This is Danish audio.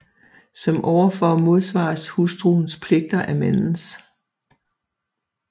Som ovenfor modsvares hustruens pligter af mandens